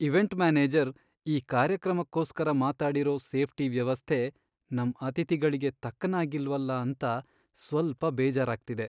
Event manager ಈ ಕಾರ್ಯಕ್ರಮಕ್ಕೋಸ್ಕರ ಮಾತಾಡಿರೋ ಸೇಫ್ಟಿ ವ್ಯವಸ್ಥೆ ನಮ್ ಅತಿಥಿಗಳ್ಗೆ ತಕ್ಕನಾಗಿಲ್ವಲ ಅಂತ ಸ್ವಲ್ಪ ಬೇಜಾರಾಗ್ತಿದೆ.